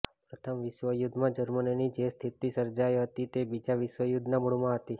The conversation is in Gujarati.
પ્રથમ વિશ્વયુદ્ધમાં જર્મનીની જે સ્થિતિ સર્જાઈ હતી તે બીજા વિશ્વયુદ્ધના મૂળમાં હતી